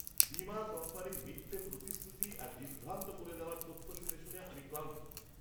বীমা কোম্পানির মিথ্যে প্রতিশ্রুতি আর বিভ্রান্ত করে দেওয়া তথ্য শুনে শুনে আমি ক্লান্ত।